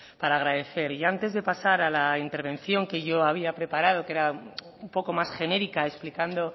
para agradecer y antes de pasar a la intervención que yo había preparado que era un poco más genérica explicando